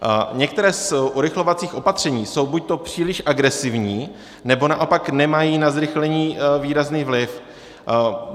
Některá z urychlovacích opatření jsou buďto příliš agresivní, nebo naopak nemají na zrychlení výrazný vliv.